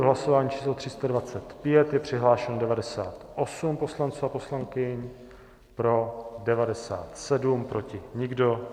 V hlasování číslo 325 je přihlášeno 98 poslanců a poslankyň, pro 97, proti nikdo.